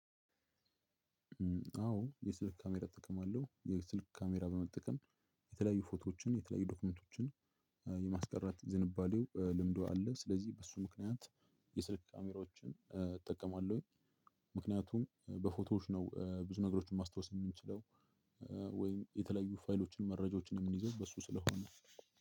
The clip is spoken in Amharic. አዎ የስልክ ካሜራ እጠቀማለሁ የስልክ ካሜራ በመጠቀም የተለያዩ ፎቶዎችን የተለያዩ ዶክመንቶችን የማስቀረት ዝንባሌው ልምዱ አለ ስለዚህ በሱ ምክንያት የስልክ ካሜራዎችን እጠቀማለሁኝ። ምክንያቱም በፎቶዎች ነው ብዙ ነገሮችን ማስታወስ የምንችለው። ወይም የተለያዩ ፋይሎችን መረጃዎችን የምንይዘው በሱ ስለሆነ።